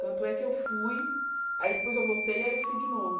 Tanto é que eu fui, aí depois eu voltei e aí eu fui de novo.